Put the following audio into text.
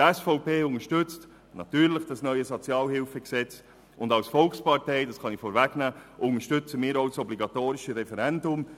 Die SVP-Fraktion unterstützt das neue SHG natürlich, und als Volkspartei unterstützen wir auch das obligatorische Referendum.